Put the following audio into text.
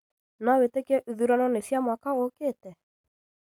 No wĩtĩkie ithurano nĩ cia mwaka ũkĩte?